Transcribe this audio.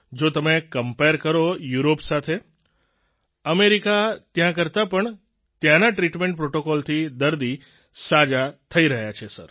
જો તમે કમ્પેર કરો યુરોપ સાથે અમેરિકા ત્યાં કરતાં આપણે ત્યાંના ટ્રિટમેન્ટ પ્રોટોકોલથી દર્દી સાજા થઈ રહ્યા છે સર